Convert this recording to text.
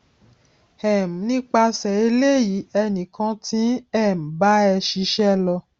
um nípasè eléyìí ènì kan ti ń um bá ẹ ṣíṣẹ lọ